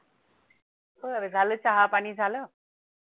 बरं! झालं चहा पाणी झालं